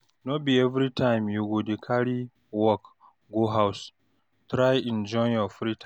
No be everytime you go dey carry work go house, try enjoy your free time.